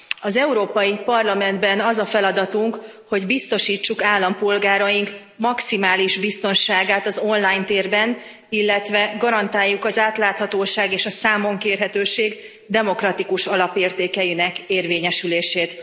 Az Európai Parlamentben az a feladatunk, hogy biztosítsuk állampolgáraink maximális biztonságát az online térben, illetve garantáljuk az átláthatóság és a számonkérhetőség demokratikus alapértékeinek érvényesülését.